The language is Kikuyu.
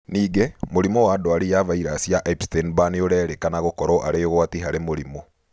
Ningĩ, mũrimũ wa ndwari ya vairaci ya Epsteinn Barr nĩũrerĩkana gũkorwo arĩ ũgwati harĩ mũrimũ